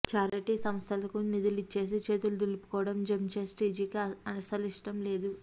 charity సంస్థలకు నిధులు ఇచ్చేసి చేతులు దులుపుకోవడం జంషెట్జీకి అసలిష్టం లేదు